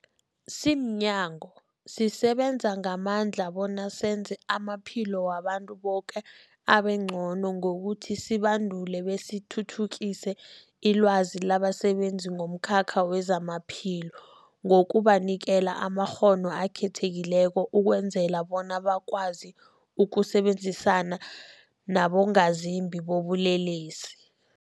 Simnyango, sisebenza ngamandla bona senze amaphilo wabantu boke abengcono ngokuthi sibandule besithuthukise ilwazi labasebenzi bomkhakha wezamaphilo ngokubanikela amakghono akhethekileko ukwenzela bona bakwazi ukusebenzisana nabongazimbi bobulelesi.